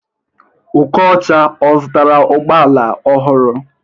Okocha, ọ zụtara ụgbọala ọhụrụ?